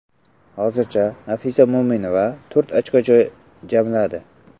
Hozirgacha Nafisa Mo‘minova to‘rt ochko jamladi.